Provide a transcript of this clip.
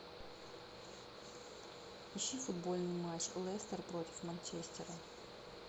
ищи футбольный матч лестер против манчестера